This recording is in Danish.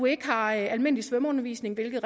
ikke har almindelig svømmeundervisning hvilket